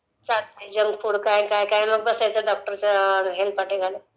मग काय चालतय जंक फुड काय काय नी बसायचं डॉक्टरचे हेलपाटे घालत...